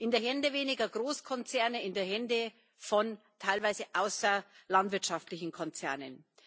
In die Hände weniger Großkonzerne, in die Hände von teilweise außerlandwirtschaftlichen Konzernen.